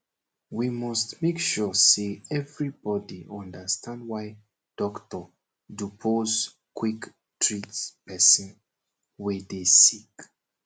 we must make sure say everybodi understand why doctor dupose quick treat pesin wey dey sick